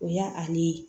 O y'ale ye